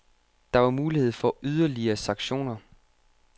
Der var mulighed for yderligere sanktioner.